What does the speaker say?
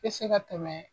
Bɛ se ka tɛmɛ